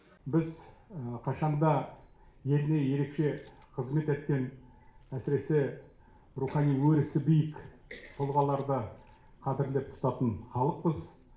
біз қашан да еліне ерекше қызмет еткен әсіресе рухани өрісі биік тұлғаларды қадірлеп тұтатын халықпыз